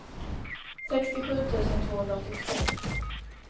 sextiosju tusen tvåhundraåttiotvå